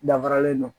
Dafaralen don